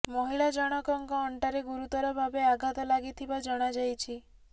ମହିଳା ଜଣକଙ୍କ ଅଣ୍ଟାରେ ଗୁରୁତର ଭାବେ ଆଘାତ ଲାଗିଥିବା ଜଣାଯାଇଛି